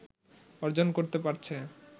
অর্জন করতে পারছে